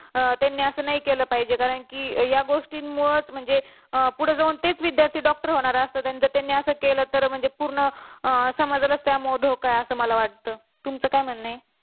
त्यांनी असं नाही केलं पाहिजे कारण की या गोष्टी मूळच म्हणजे पुढे जाऊन तेच विध्यार्थी doctor होणार असतात आणि जर त्यांनी असं केलं तर पूर्ण समाजाला त्यामुळे धोका आहे असं वाटत तुमचं काय म्हणणं आहे?